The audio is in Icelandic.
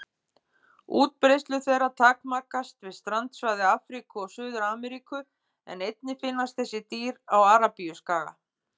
Útbreiðslu þeirra takmarkast við strandsvæði Afríku og Suður-Ameríku en einnig finnast þessi dýr á Arabíuskaga.